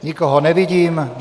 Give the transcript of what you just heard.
Nikoho nevidím.